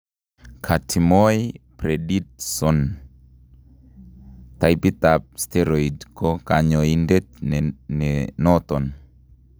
Kotimoe prednisone taipit ab steroid ko kanyoindet nenoton